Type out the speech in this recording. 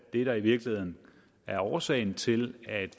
det der i virkeligheden er årsagen til at